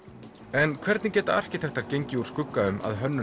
en hvernig geta arkitektar gengið úr skugga um að hönnun